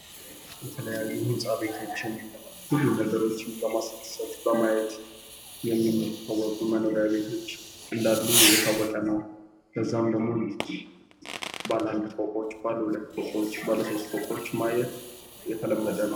የተለያዩ ህንፃ ቤቶችን ብዙ ነገሮችን በማስደሰት በማየት የሚታወቁ መኖሪያ ቤቶች እንደሉ እየታወቀ ነው ለዛም ደግሞ ባለ አንድ ፎቆች፣ ባለ ሁለት ፎቆች፣ ባለ ሶስት ፎቆች ማየት የተለመደ ነው።